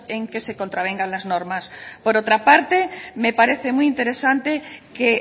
en que se contravengan las normas por otra parte me parece muy interesante que